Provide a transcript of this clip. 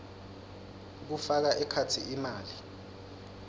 kufaka ekhatsi imali